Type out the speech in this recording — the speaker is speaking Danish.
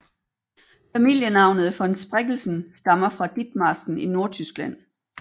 Familienavnet von Spreckelsen stammer fra Ditmarsken i Nordtyskland